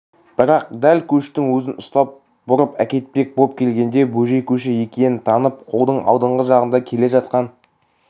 бірақ дәл көштің өзін ұстап бұрып әкетпек боп келгенде бөжей көші екенін танып қолдың алдыңғы жағында келе жатқан